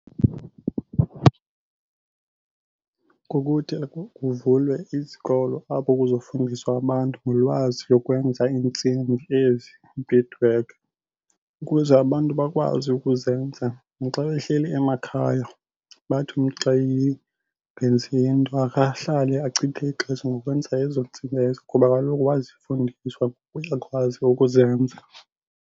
Kukuthi kuvulwe izikolo apho kuzofundiswa abantu ngolwazi lokwenza iintsimbi ezi, bead work, ukuze abantu bakwazi ukuzenza naxa behleli emakhaya. Bathi umntu xa engenzi nto ake ahlale achithe ixesha ngokwenza ezo ntsimbi ezo ngoba kaloku wazifundiswa uyakwazi ukuzenza.